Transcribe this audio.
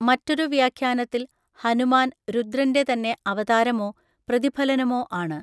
മറ്റൊരു വ്യാഖ്യാനത്തിൽ ഹനുമാൻ രുദ്രന്‍റെ തന്നെ അവതാരമോ പ്രതിഫലനമോ ആണ്.